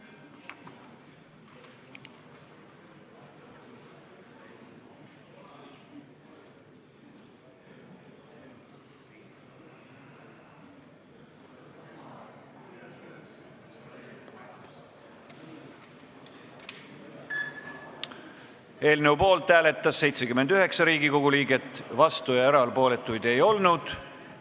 Hääletustulemused Eelnõu poolt hääletas 79 Riigikogu liiget, vastuolijaid ja erapooletuid ei olnud.